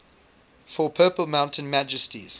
for purple mountain majesties